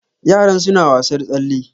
Yaran suna wasar tsalle.